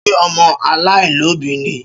Ṣé ọmọ alaialobi ni?